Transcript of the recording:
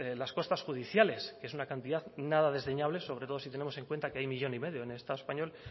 las costas judiciales que es una cantidad nada desdeñable sobre todo si tenemos en cuenta que hay millón y medio en el estado español